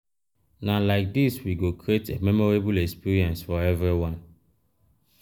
na like dis we go create a memorable experience for everyone.